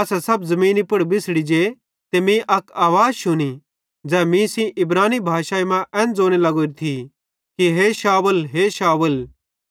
असां सब ज़मीनी पुड़ बिछ़ड़ी जे ते मीं अक आवाज़ शुनी ज़ै मीं सेइं इब्रानी भाषाई मां एन ज़ोने लगोरी थी कि हे शाऊल हे शाऊल